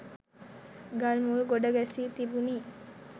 ගල් මුල් ගොඩ ගැසී තිබුණි.